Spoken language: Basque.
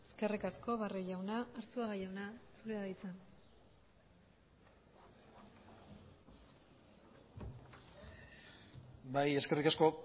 eskerrik asko barrio jauna arzuaga jauna zurea da hitza bai eskerrik asko